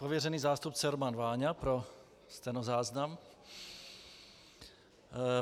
Pověřený zástupce Roman Váňa - pro stenozáznam.